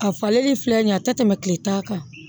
A falenli filɛ nin ye a tɛ tɛmɛ tile tan kan